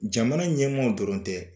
Jamana ɲɛmaw dɔrɔn tɛ